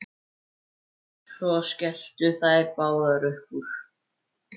Svo skelltu þær báðar upp úr.